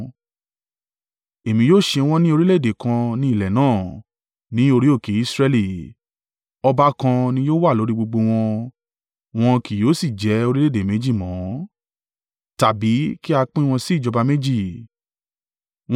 Èmi yóò ṣe wọ́n ní orílẹ̀-èdè kan ní ilẹ̀ náà, ní orí òkè Israẹli, ọba kan ni yóò wà lórí gbogbo wọn, wọn kì yóò sì jẹ́ orílẹ̀-èdè méjì mọ́, tàbí kí a pín wọn sí ìjọba méjì.